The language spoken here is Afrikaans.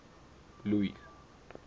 louis